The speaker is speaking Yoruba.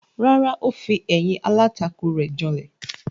Rárá, ó fi ẹ̀yìn alátakò rẹ̀ janlẹ̀.